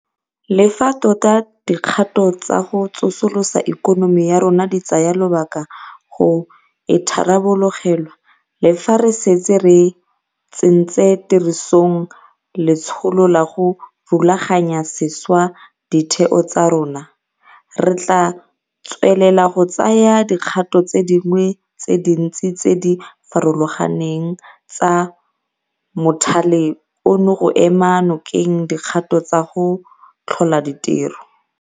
Le fa tota dikgato tsa go tsosolosa ikonomi ya rona di tsaya lobaka go itharabologelwa le fa re setse re tsentse tirisong letsholo la go rulaganya sešwa ditheo tsa rona, re tla tswelela go tsaya dikgato tse dingwe tse dintsi tse di farologaneng tsa mothale ono go ema nokeng dikgato tsa go tlhola ditiro.